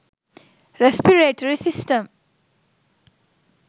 respiratory system